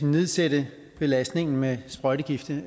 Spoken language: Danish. nedsætte belastningen med sprøjtegifte